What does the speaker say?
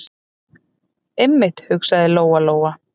Einmitt, hugsaði Lóa- Lóa.